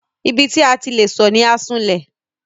Ibi tí a ti le sọ̀ ni Asunlẹ̀.